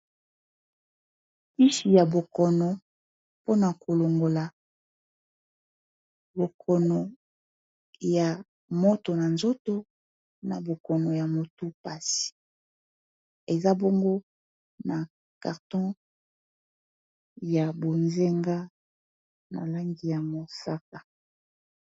Kisi ya bokono pona kolongola bokono ya moto na nzoto na bokono ya motu pasi eza bongo na karton ya bozenga na langi ya mosaka